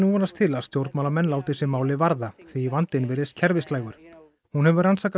vonast til að stjórnmálamenn láti sig málið varða því vandinn virðist kerfislægur hún hefur rannsakað